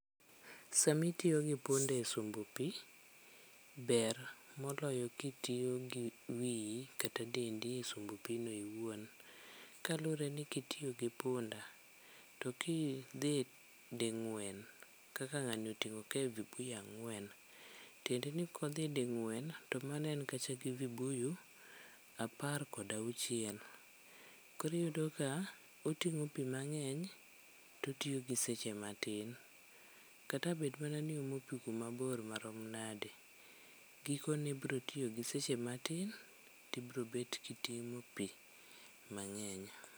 Samitiyo gi punda e sombo pi ber moloyo kitiyo gi wiyi kata dendi e sombo pino iwuon. Kaluwore ni kitiyo gi punda to kidhi ding'wen kaka ng'ani oting'o kae vibuyu ang'wen. Tiende ni kodhi ding'wen to mano en kacha gi vibuyu apar kodauchiel. Koriyudo ka oting'o pi mang'eny totiyo gi seche matin. Kata abed mana ni omo pi kumabor manade, gikone brotiyo gi seche matin ti brobet kitimo pi mang'eny.